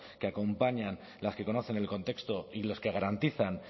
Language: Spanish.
que acompañan las que conocen el contexto y los que garantizan